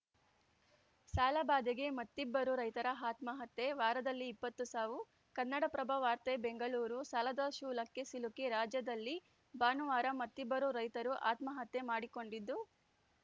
ಸಾಲಬಾಧೆಗೆ ಮತ್ತಿಬ್ಬರು ರೈತರ ಆತ್ಮಹತ್ಯೆ ವಾರದಲ್ಲಿ ಇಪ್ಪತ್ತು ಸಾವು ಕನ್ನಡಪ್ರಭ ವಾರ್ತೆ ಬೆಂಗಳೂರು ಸಾಲದ ಶೂಲಕ್ಕೆ ಸಿಲುಕಿ ರಾಜ್ಯದಲ್ಲಿ ಭಾನುವಾರ ಮತ್ತಿಬ್ಬರು ರೈತರು ಆತ್ಮಹತ್ಯೆ ಮಾಡಿಕೊಂಡಿದ್ದು